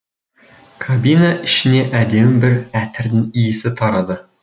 кабина ішіне әдемі бір әтірдің исі тарады